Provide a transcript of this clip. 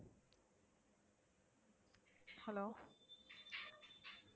hello